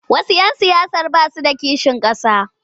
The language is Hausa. Wasu 'yan siyasar ba su da kishin ƙasa.